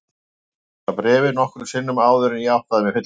Ég þurfti að lesa bréfið nokkrum sinnum áður en ég áttaði mig fyllilega.